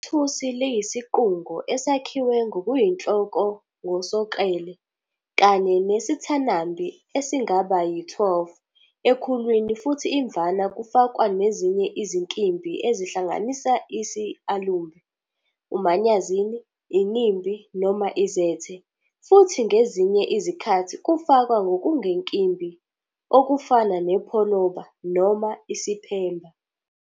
IThusi liyisiqungo esakhiwe ngokuyinhloko ngosoklele, kanye nesithanambi esingaba yi-12 ekhulwini futhi imvama kufakwa nezinye izinkimbi, ezihlanganisa isAlumbe, uManyazini, INimbi noma iZethe, futhi ngezinye izikhathi kufakwa nokungenkimbi, okufana nepholoba, noma iSiphemba.